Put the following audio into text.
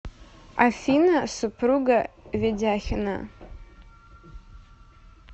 афина супруга ведяхина